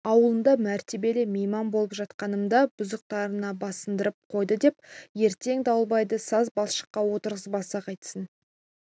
ауылында мәртебелі мейман болып жатқанымда бұзықтарына басындырып қойды деп ертең дауылбайды саз балшыққа отырғызбаса қайтсін